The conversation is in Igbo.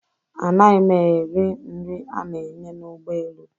A naghị m eri nri ana-enye n'ụgbọelu